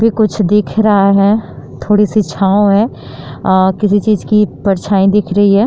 भी कुछ दिख रहा है। थोड़ी सी छाँव है। अ किसी चीज की परछाईं दिख रही है।